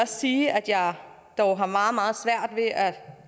sige at jeg dog har meget meget svært ved at